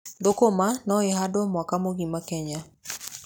Thũkũma no ihandwo mwaka mũgima kenya.